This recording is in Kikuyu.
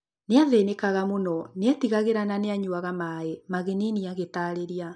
Nĩathĩnĩkaga mũno; nĩetigagĩra na nĩanyuaga maĩ ‘’ Magnini agĩtarĩria